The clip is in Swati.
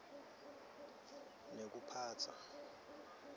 nekuphatsa